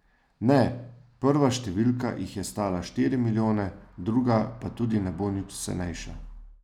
Ne, prva številka jih je stala štiri milijone, druga pa tudi ne bo nič cenejša.